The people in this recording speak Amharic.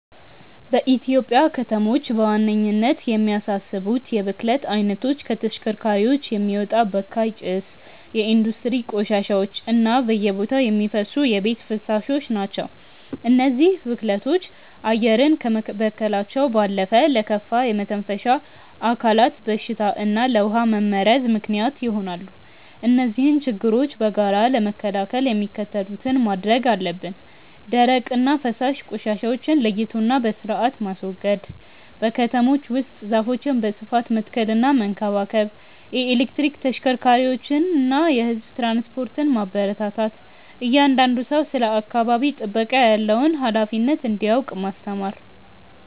በኢትዮጵያ ከተሞች በዋነኝነት የሚያሳስቡት የብክለት አይነቶች ከተሽከርካሪዎች የሚወጣ በካይ ጭስ፣ የኢንዱስትሪ ቆሻሻዎች እና በየቦታው የሚፈሱ የቤት ፍሳሾች ናቸው። እነዚህ ብክለቶች አየርን ከመበከላቸው ባለፈ ለከፋ የመተንፈሻ አካላት በሽታ እና ለውሃ መመረዝ ምክንያት ይሆናሉ። እነዚህን ችግሮች በጋራ ለመከላከል የሚከተሉትን ማድረግ አለብን፦ ደረቅና ፈሳሽ ቆሻሻዎችን ለይቶና በስርአት ማስወገድ። በከተሞች ውስጥ ዛፎችን በስፋት መትከልና መንከባከብ። የኤሌክትሪክ ተሽከርካሪዎችንና የህዝብ ትራንስፖርትን ማበረታታት። እያንዳንዱ ሰው ስለ አካባቢ ጥበቃ ያለውን ሃላፊነት እንዲያውቅ ማስተማር።